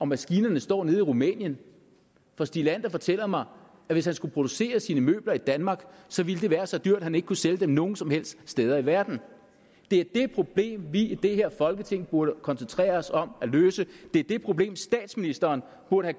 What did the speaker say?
maskinerne står nede i rumænien for stig leander fortæller mig at hvis han skulle producere sine møbler i danmark ville det være så dyrt at han ikke kunne sælge dem nogen som helst steder i verden det er det problem vi i det her folketing burde koncentrere os om at løse det er det problem statsministeren burde